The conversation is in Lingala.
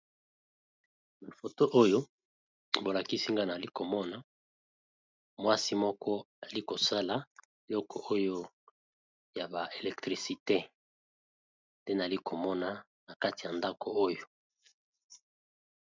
Na foto Oyo balakisi Ngai mwasi Moko Azo sala ba Biloko ya electricite